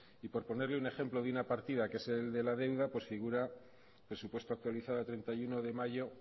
y por ponerle un ejemplo de una partida que es el de la deuda figura presupuesto actualizado treinta y uno de mayo